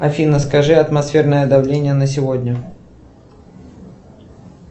афина скажи атмосферное давление на сегодня